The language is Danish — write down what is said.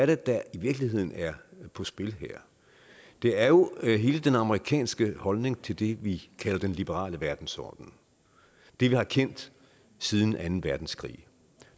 det der i virkeligheden er på spil her det er jo hele den amerikanske holdning til det vi kalder den liberale verdensorden det vi har kendt siden anden verdenskrig